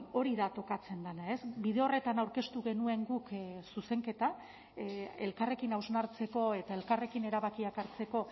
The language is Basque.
hori da tokatzen dena bide horretan aurkeztu genuen guk zuzenketa elkarrekin hausnartzeko eta elkarrekin erabakiak hartzeko